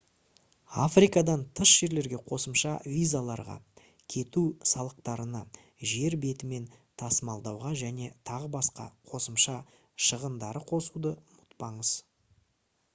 африкадан тыс жерлерге қосымша визаларға кету салықтарына жер бетімен тасымалдауға және т.б. қосымша шығындарды қосуды ұмытпаңыз